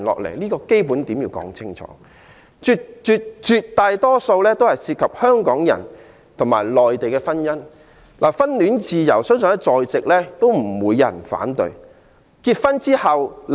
內地來港團聚人士絕大多數涉及香港與內地婚姻，相信在座不會有人反對婚戀自由。